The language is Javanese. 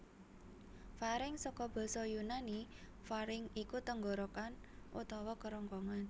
Faring saka basa Yunani pharynx iku tenggorok utawa kerongkongan